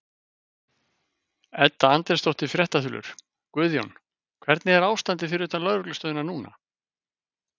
Edda Andrésdóttir, fréttaþulur: Guðjón, hvernig er ástandið fyrir utan lögreglustöðina núna?